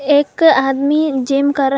एक आदमी जिम कर रहा--